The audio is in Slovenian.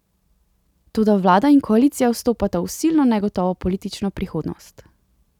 Toda vlada in koalicija vstopata v silno negotovo politično prihodnost.